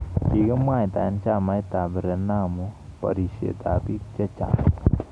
Kikimwaitae chamait ab Renamo barisyet ab biik chechaang